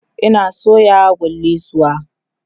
Ina soya kullisuwa